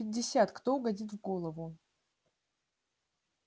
пятьдесят кто угодит в голову